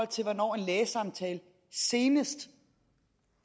til hvornår en lægesamtale senest